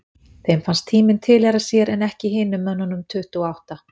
Þeim fannst tíminn tilheyra sér en ekki hinum mönnunum tuttugu og átta.